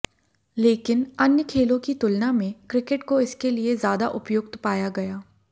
लेकिन अन्य खेलों की तुलना में क्रिकेट को इसके लिए ज्यादा उपयुक्त पाया गया